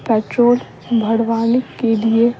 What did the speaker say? petrol बढ़वाने के लिए --